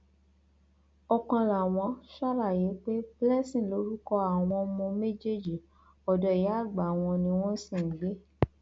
ọkanlàwọn ṣàlàyé pé blessing lorúkọ àwọn ọmọ méjèèjì ọdọ ìyáàgbà wọn ni wọn sì ń gbé